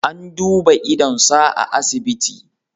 An duba idonsa a asibiti.